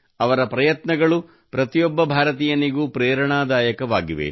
ಅವರ ಪ್ರಯತ್ನಗಳು ಪ್ರತಿಯೊಬ್ಬ ಭಾರತೀಯನಿಗೂ ಪ್ರೇರಣದಾಯಕವಾಗಿವೆ